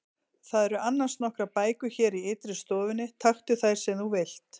Það eru annars nokkrar bækur hér í ytri stofunni, taktu þær sem þú vilt.